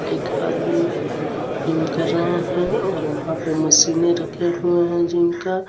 एक आदमी जिम कर रहा है और वहां पे मशीने रखे हुए हैं जिम का.